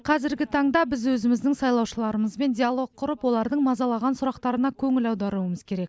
қазіргі таңда біз өзіміздің сайлаушыларымызбен диалог құрып олардың мазалаған сұрақтарына көңіл аударуымыз керек